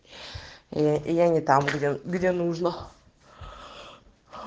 я не там где где нужно